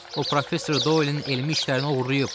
O professor Doilin elmi işlərini oğurlayıb.